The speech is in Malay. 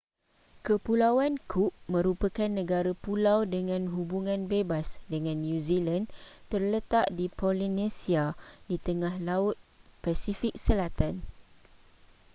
kepulauan cook merupakan negara pulau dengan hubungan bebas dengan new zealand terletak di polynesia di tengah laut pasifik selatan